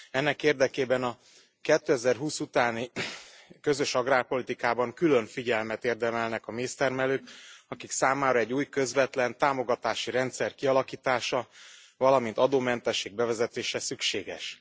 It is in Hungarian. Ennek érdekében a 2020 utáni Közös Agrárpolitikában külön figyelmet érdemelnek a méztermelők, akik számára egy új, közvetlen támogatási rendszer kialakítása, valamint adómentesség bevezetése szükséges.